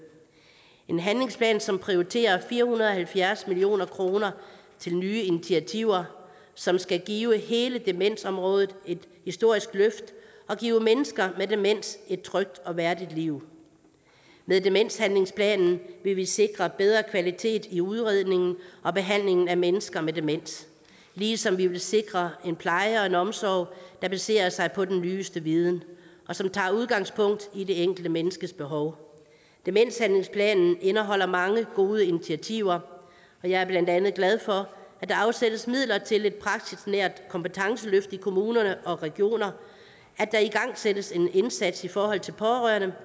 en handlingsplan som prioriterer fire hundrede og halvfjerds million kroner til nye initiativer som skal give hele demensområdet et historisk løft og give mennesker med demens et trygt og værdigt liv med demenshandlingsplanen vil vi sikre bedre kvalitet i udredningen og behandlingen af mennesker med demens ligesom vi vil sikre en pleje og en omsorg der baserer sig på den nyeste viden og som tager udgangspunkt i det enkelte menneskes behov demenshandlingsplanen indeholder mange gode initiativer og jeg er blandt andet glad for at der afsættes midler til et praksisnært kompetenceløft i kommuner og regioner at der igangsættes en indsats i forhold til pårørende